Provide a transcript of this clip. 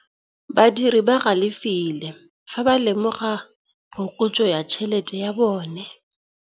Badiri ba galefile fa ba lemoga phokotsô ya tšhelête ya bone.